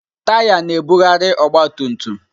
Taya na-ebugharị ọgba tum tum.